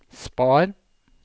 spar